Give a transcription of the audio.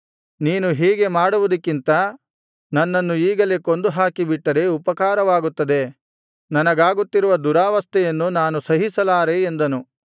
ನೀನು ಹೀಗೆ ಮಾಡುವುದಕ್ಕಿಂತ ನನ್ನನ್ನು ಈಗಲೇ ಕೊಂದುಹಾಕಿಬಿಟ್ಟರೆ ಉಪಕಾರವಾಗುತ್ತದೆ ನನಗಾಗುತ್ತಿರುವ ದುರಾವಸ್ಥೆಯನ್ನು ನಾನು ಸಹಿಸಲಾರೆ ಎಂದನು